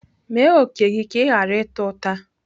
Mee òkè gị ka ị ghara ịta ụta.